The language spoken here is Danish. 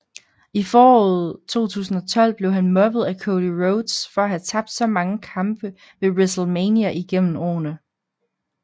I foråret 2012 blev han mobbet af Cody Rhodes for at have tabt så mange kampe ved WrestleMania igennem årene